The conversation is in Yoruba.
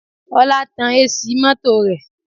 Ọlá tan AC mọ́tò rẹ lẹ̀